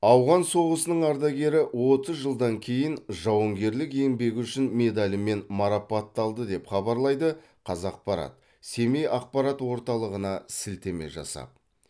ауған соғысының ардагері отыз жылдан кейін жауынгерлік еңбегі үшін медалімен марапатталды деп хабарлайды қазақпарат семей ақпарат орталығына сілтеме жасап